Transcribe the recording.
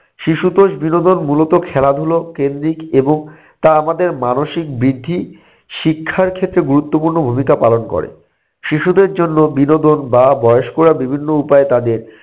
শিশুতোষ বিনোদন মূলত খেলাধুলো কেন্দ্রিক এবং তা আমাদের মানসিক বৃদ্ধি শিক্ষার ক্ষেত্রে গুরুত্বপূর্ণ ভূমিকা পালন করে। শিশুদের জন্য বিনোদন বা বয়স্করা বিভিন্ন উপায়ে তাদের